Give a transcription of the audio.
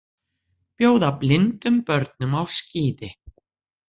Bjóða blindum börnum á skíði